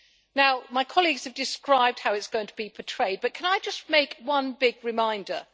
Now, my colleagues have described how it is going to be portrayed, but can I just issue a big reminder?